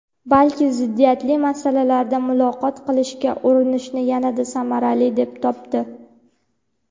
balki ziddiyatli masalalarda muloqot qilishga urinishni yanada samarali deb topdi.